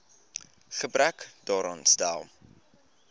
gebrek daaraan stel